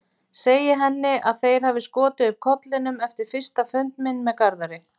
Segi henni að þeir hafi skotið upp kollinum eftir fyrsta fund minn með Garðari.